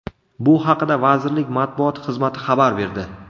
Bu haqida vazirlik matbuot xizmati xabar berdi.